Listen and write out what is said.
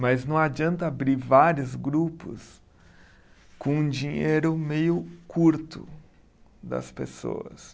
Mas não adianta abrir vários grupos com um dinheiro meio curto das pessoas.